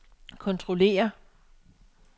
kontrollere